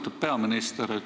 Austatud peaminister!